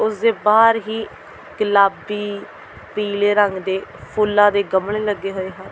ਉਸ ਦੇ ਬਾਹਰ ਹੀ ਗੁਲਾਬੀ ਪੀਲੇ ਰੰਗ ਦੇ ਫੁੱਲਾਂ ਦੇ ਗਮਲੇ ਲੱਗੇ ਹੋਏ ਹਨ।